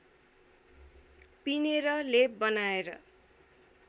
पिनेर लेप बनाएर